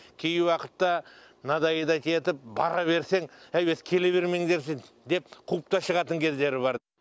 кей уақытта надоедать етіп бара берсең әй өзі келе бермеңдерші деп қуып та шығатын кездері бар